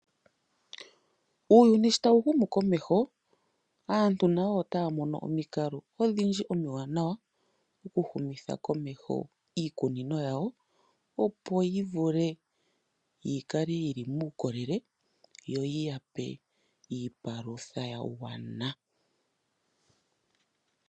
Uuyuni shi tawu humu komeho naantu otaya mono oomikalo odhindji omiwanawa, oku humitha komeho iikunino yawo, opo yi vule yikale yili muukolele, yo yiyape iipalutha ya gwana.